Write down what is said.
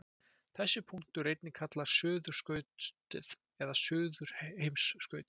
Þessi punktur er einnig kallaður suðurskautið eða suðurheimskautið.